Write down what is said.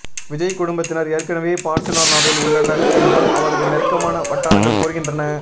விஜய் குடும்பத்தினர் ஏற்கனவே பார்சிலோனாவில் உள்ளனர் என்றும் அவரது நெருக்கமான வட்டாரங்கள் கூறுகின்றன